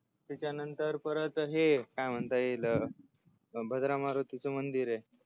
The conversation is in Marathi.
त्याच्या नंतर परत हे काय म्हणता अह येईल भद्रा मारुतीच मंदीरय